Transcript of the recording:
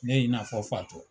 Ne y 'i na fɔ fatɔ.